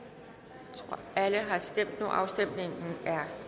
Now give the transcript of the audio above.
der alle har stemt så afstemningen er